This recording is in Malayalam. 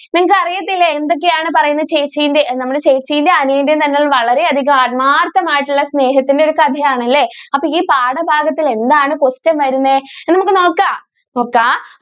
നിങ്ങക്ക് അറിയത്തില്ലേ എന്തൊക്കെയാണ് പറയുന്നത് ചേച്ചിന്റെ നമ്മൾ ചേച്ചിയുടെയും അനിയന്റെയും തന്നെ വളരെ അധികം ആത്മാർത്ഥമായിട്ടുള്ള സ്നേഹത്തിന്റെ ഒരു കഥ ആണല്ലേ അപ്പൊ ഈ പാഠഭാഗത്തിൽ എന്താണ് question വരുന്നേ നമുക്ക് നോക്കാം? നോക്കാം.